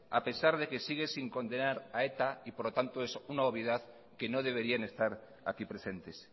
a pesar de que sigue sin condenar a eta y por lo tanto es una obviedad que no deberían estar aquí presentes